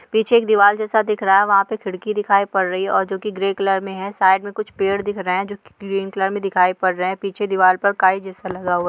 पीछे एक दीवाल जैसा दिख रहा हैं वहाँ पर खिड़कि दिखाई पर रही हैं और जो की ग्रे कलर में हैं साइड में कुछ पेड़ दिख रहे हैं जो ग्रीन कलर में दिखाई पर रहे हैं पीछे दिवार पर काई जैसा लगा हुआ हुआ हैं।